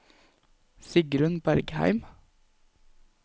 Sigrun Bergheim